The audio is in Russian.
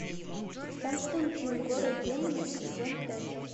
константин город демонов сезон пять